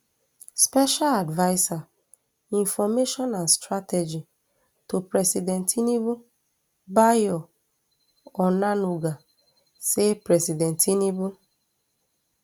special adviser information and strategy to president tinubu bayo onanuga say president tinubu